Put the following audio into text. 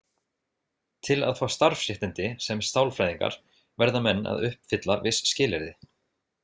Til að fá starfsréttindi sem sálfræðingar verða menn að uppfylla viss skilyrði.